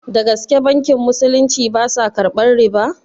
Dagaske bankin musulunci basa karɓar riba?